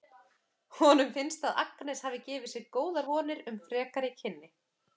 Honum finnst að Agnes hafi gefið sér góðar vonir um frekari kynni.